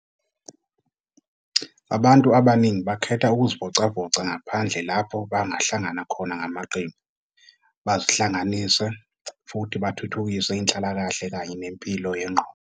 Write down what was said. Abantu abaningi bakhetha ukuzivocavoca ngaphandle lapho bangahlangana khona ngamaqembu, bazihlanganise, futhi bathuthukise inhlalakahle kanye nempilo yengqondo.